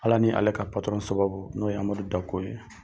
Ala ni ale ka patɔrɔn sababu , n'o ye Amadu Dako ye.